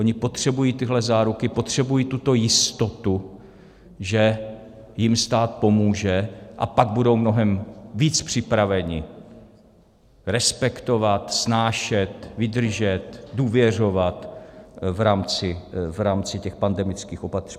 Oni potřebují tyhle záruky, potřebují tuto jistotu, že jim stát pomůže, a pak budou mnohem víc připraveni respektovat, snášet, vydržet, důvěřovat v rámci těch protipandemických opatření.